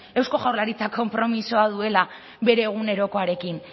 eusko jaurlaritzak konpromisoa duela bere egunerokoarekin